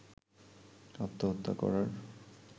আত্মহত্যা করার